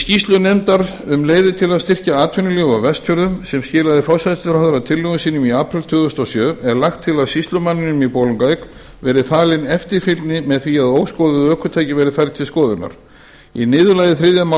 skýrslu nefndar um leiðir til að styrkja atvinnulíf á vestfjörðum sem skilaði forsætisráðherra tillögum sínum í apríl tvö þúsund og sjö er lagt til að sýslumanninum í bolungarvík verði falin eftirfylgni með því að óskoðuð ökutæki verði færð til skoðunar í niðurlagi þriðju